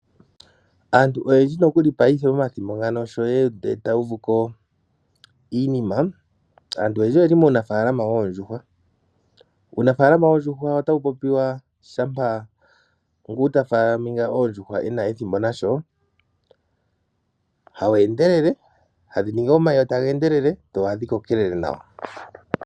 Aantu oyendji nokuli paife momathimbo sho uuyuni wahuma. Aantu oyendji oye li muunafaalama woondjuhwa . Uunafaalama woondjuhwa ota wu popiwa kutya, ngu ta munu oondjuhwa no kuna ethimbo nasho , ohawu endelele tadhi vala omayi tadhi endelele dho ohadhi koko tadhi e ndelele nawa.